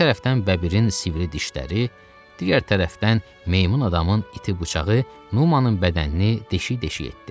Bir tərəfdən bəbirin sivri dişləri, digər tərəfdən meymun adamın iti bıçağı Numanın bədənini deşik-deşik etdi.